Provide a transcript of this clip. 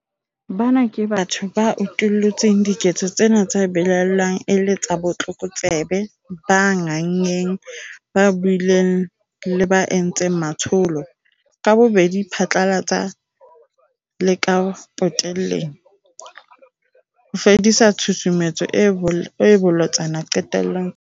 Bana ke batho ba utullutseng diketso tsena tse belaellwang e le tsa botlokotsebe, ba nganngeng, ba buileng le ba entseng matsholo - ka bobedi phatlalatsa le ka potelleng - ho fedisa tshusumetso e bolotsana diqetong tsa puso.